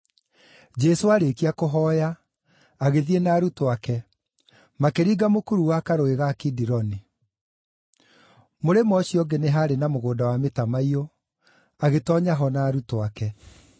Jesũ aarĩkia kũhooya, agĩthiĩ arĩ na arutwo ake, makĩringa mũkuru wa Karũũĩ ga Kidironi. Mũrĩmo ũcio ũngĩ nĩ haarĩ na mũgũnda wa mĩtamaiyũ, agĩtoonya ho na arutwo ake.